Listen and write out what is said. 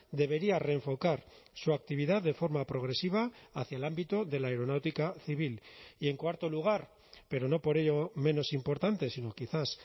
debería reenfocar su actividad de forma progresiva hacia el ámbito de la aeronáutica civil y en cuarto lugar pero no por ello menos importante sino quizás